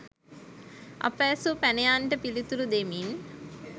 අප ඇසූ පැනයන්ට පිළිතුරු දෙමින්